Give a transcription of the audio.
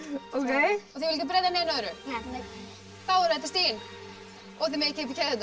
þið ætlið ekki að breyta neinu öðru nei þá eru þetta stigin og þið megið kippa í keðjurnar